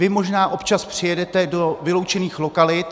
Vy možná občas přijedete do vyloučených lokalit.